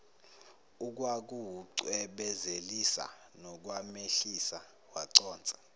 ukwakuwucwebezelisa nokwamehlisa waconsa